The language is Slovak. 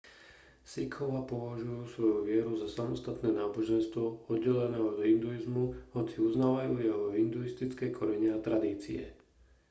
sikhovia považujú svoju vieru za samostatné náboženstvo oddelené od hinduizmu hoci uznávajú jeho hinduistické korene a tradície